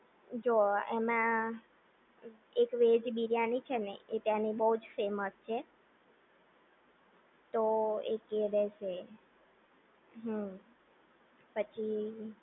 જો એમાં એક વેજ બિરયાની છે ને એ ત્યાંની બહુ જ ફેમસ છે. તો એક એ રહેશે હમ્મ પછી